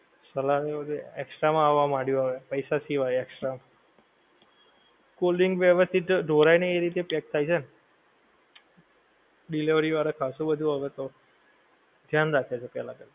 salad ની ઓ એ extra માં આવા માંડીયું હવે પૈસા થી હવે extra, cold drink વ્યવસ્થિત ધોડાએ નહીં એવી રીતે પેક થાય છે ને, delivery વાળા ખાસું બધું હવે તો, ધ્યાન રાખે છે પેહલા કરતા